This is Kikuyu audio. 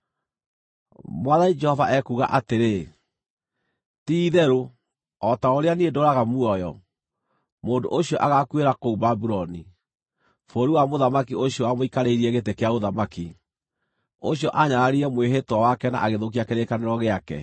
“ ‘Mwathani Jehova ekuuga atĩrĩ: Ti-itherũ o ta ũrĩa niĩ ndũũraga muoyo, mũndũ ũcio agaakuĩra kũu Babuloni, bũrũri wa mũthamaki ũcio wamũikarĩirie gĩtĩ kĩa ũthamaki, ũcio aanyararire mwĩhĩtwa wake na agĩthũkia kĩrĩkanĩro gĩake.